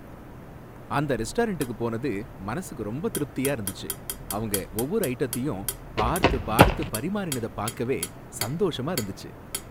அந்த ரெஸ்டாரண்டுக்கு போனது மனசுக்கு ரொம்ப திருப்தியா இருந்துச்சு. அவங்க ஒவ்வொரு ஐட்டத்தையும் பார்த்து பார்த்து பரிமாறினத பாக்கவே சந்தோஷமா இருந்துச்சு.